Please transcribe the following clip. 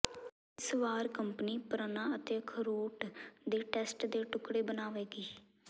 ਇਸ ਵਾਰ ਕੰਪਨੀ ਪ੍ਰਣਾਂ ਅਤੇ ਅਖਰੋਟ ਦੇ ਟੈਸਟ ਦੇ ਟੁਕੜੇ ਬਣਾਵੇਗੀ